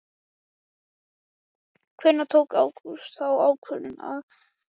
Hvenær tók Ágúst þá ákvörðun að hann vildi halda Þórði?